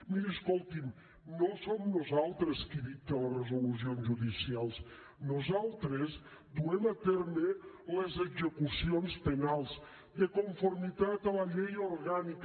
miri escolti’m no som nosaltres qui dicta les resolucions judicials nosaltres duem a terme les execucions penals de conformitat amb la llei orgànica